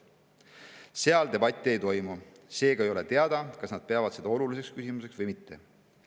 Seal debatti ei toimu, seega ei ole teada, kas nad peavad seda oluliseks küsimuseks või mitte.